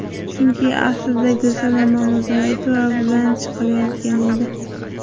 Chunki aslida Gulsanam Mamazoitova bilan chiqilayotgan edi.